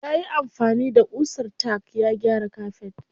Yayi amfani da ƙusar tack ya gyara kafet.